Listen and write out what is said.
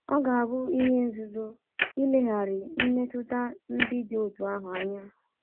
Ọ ga-abụ ihe nzuzu ileghara mmetụta ndị dị otú ahụ anya.